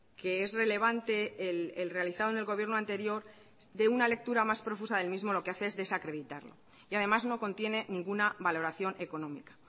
que es relevante el realizado en el gobierno anterior de una lectura más profusa del mismo lo que hace es desacreditarlo y además no contienen ninguna valoración económica